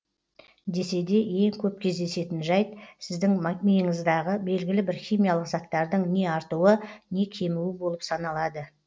десе де ең көп кездесетін жәйт сіздің миыңыздағы белгілі бір химиялық заттардың не артуы не кемуі болып саналады